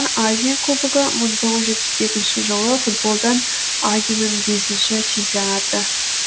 азия кубогы мың тоғыз жүз жетпіс екінші жылы футболдан азинан бесінші чемпионаты